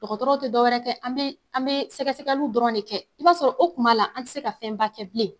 Dɔgɔtɔrɔw te dɔ wɛrɛ kɛ an be an be sɛgɛsɛgɛliw dɔrɔn de kɛ. I b'a sɔrɔ o tuma la an ti se ka fɛnba kɛ bilen.